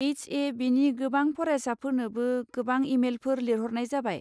H ए बिनि गोबां फरायसाफोरनोबो गोबां इमेइलफोर लिरहरनाय जाबाय।